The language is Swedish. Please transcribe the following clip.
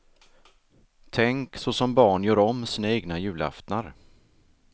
Tänkt så som barn gör om sina egna julaftnar.